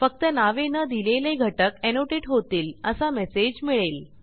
फक्त नावे न दिलेले घटक एनोटेट होतील असा मेसेज मिळेल